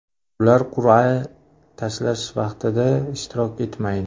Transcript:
Ular qur’a tashlash vaqtida ishtirok etmaydi.